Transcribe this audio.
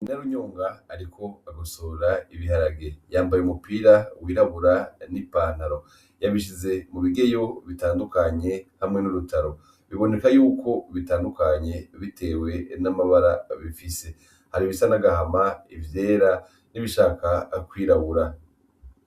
Narunyonga, ariko agosora ibiharage yambaye umupira wirabura n'i pantaro yabishize mu bigeyo bitandukanye hamwe n'urutaro biboneka yuko bitandukanye, bitewe n'amabara bifise hari ibisa n'agahama ivyera n'ibishaka kwirabura.